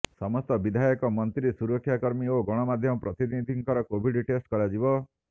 ସମସ୍ତ ବିଧାୟକ ମନ୍ତ୍ରୀ ସୁରକ୍ଷାକର୍ମୀ ଓ ଗଣମାଧ୍ୟମ ପ୍ରତିନିଧିଙ୍କର କୋଭିଡ ଟେଷ୍ଟ କରାଯିବ